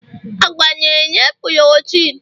agwa na-enye porotin